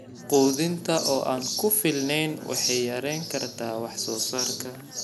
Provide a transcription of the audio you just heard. Quudinta oo aan ku filnayn waxay yarayn kartaa wax soo saarka.